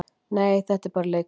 Nei, þetta er bara leikkona.